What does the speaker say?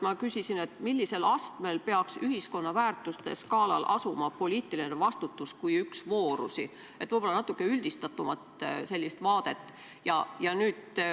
Ma küsisin, millisel astmel peaks ühiskonna väärtuste skaalal asuma poliitiline vastutus kui üks voorusi, võib-olla natuke üldistatumat vaadet.